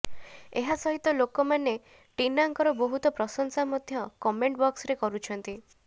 ଏହା ସହିତ ଲୋକମାନେ ଟିନାଙ୍କର ବହୁତ ପ୍ରଶଂସା ମଧ୍ୟ କମେଣ୍ଟ ବକ୍ସରେ କରୁଛନ୍ତି